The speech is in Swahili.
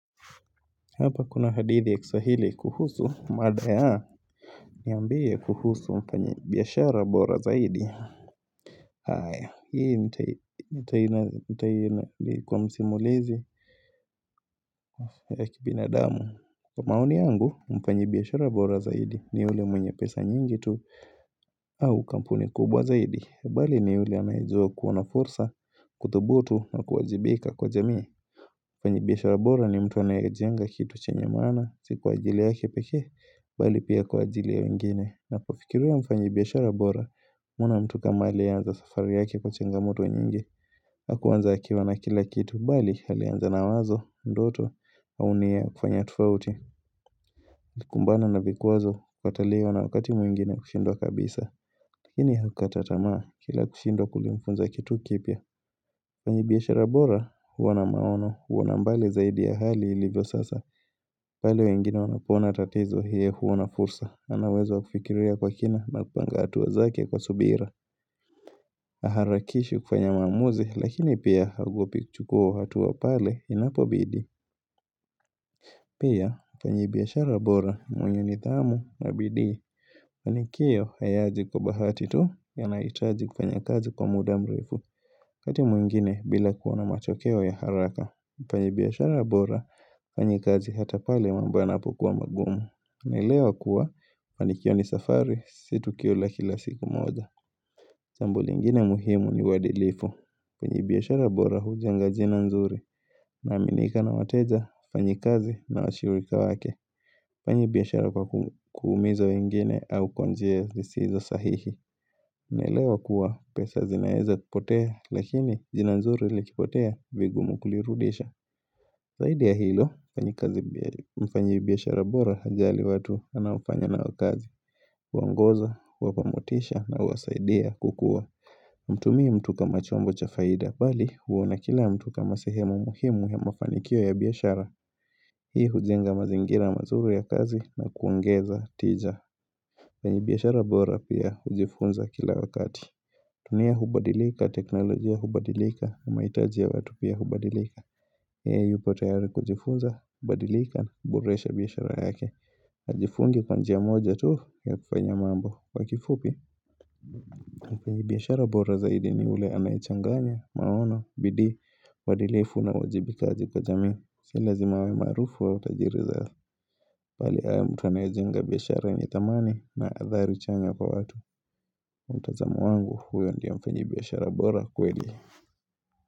Hapa kuna hadithi ya kiswahili kuhusu mada yaa Niambie kuhusu mfanyibiashara bora zaidi haya hii nitainali kwa msimulizi ya kibinadamu Kwa maoni yangu mfanyibiashara bora zaidi ni yule mwenye pesa nyingi tu au kampuni kubwa zaidi bali ni yule anayejua kuwa na fursa kuthubutu na kuwajibika kwa jamii Mfanyi biashara bora ni mtu anayejenga kitu chenye maana, si kwa ajili yake pekee, bali pia kwa ajili ya wengine. Na kufikiria mfanyibiashara bora, kuna mtu kama aliye anza safari yake kwa changamoto nyingi. Hakuanza akiwa na kila kitu, bali alianza na wazo, ndoto, maoni ya kufanya tofauti, alikumbana na vikwazo kukataliwa na wakati mwingine kushindwa kabisa. Lakini hukukata tamaa kila kushindwa kulimfunza kitu kipya. Mfanyibiashara bora, huwa na maono, huoana mbali zaidi ya hali ilivyo sasa, pale wengine wanapoona tatizo yeye huoana fursa, anauwezo wa kufikiria kwa kina na kupanga hatua zake kwa subira, Haharakishi kufanya mamuzi, lakini pia haogopi kuchukua hatua pale inapobidi. Pia, mfanyibiashara bora ni mwenye nidhamu na bidii. Mafanikio hayaji kwa bahati tu yanahitaji kufanya kazi kwa muda mrefu. waKati mwingine bila kuona matokeo ya haraka. Mfanyibiashara bora, hufanyakazi hata pale mambo yanapokuwa magumu. Naelewa kuwa, kufanikiwa ni safari si tukio la kila siku moja. Jambo lingine muhimu ni uwadilifu. Mfanyibiashara bora hujenga jina nzuri. Anaaminika na wateja, wafanyikazi na washirika wake Hafanyi biashara kwa kuumiza wengine au kwa njia zisizo sahihi anaelewa kuwa pesa zinaeza kipotea lakini jina nzuri likipotea vigumu kulirudisha Zaidi ya hilo, nfanyikazi mfanyibiashara bora hajali watu anaofanya nao kazi Huwaongoza, huwapamotisha na huwasaidia kukua Hamtumii mtu kama chombo cha faida bali huona kila mtu kama sehema muhimu ya mafanikio ya biashara Hii hujenga mazingira mazuru ya kazi na kuongeza tija mfanyibiashara bora pia hujifunza kila wakati dunia hubadilika, teknolojia hubadilika, mahitaji ya watu pia hubadilika yeye yupotayari kujifunza, hubadilika na kuboresha biashara yake Hajifungi kwa njia moja tu ya kufanya mambo Kwa kifupi, Mfanyibiashara bora zaidi ni yule anayechanganya, maono, bidii, uadilifu na uwajibikaji kwa kajamii Sio lazima awe maarufu au tajiri za bali awe mtu anayejenga biashara yenye dhamani na athari chanya kwa watu mtazamo wangu huyo ndiye mfanyibiashara bora kweli.